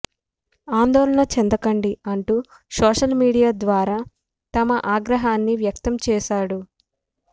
ఆందోళన చెందకండి అంటూ సోషల్ మీడియా ద్వారా తన ఆగ్రహాన్ని వ్యక్తం చేశాడు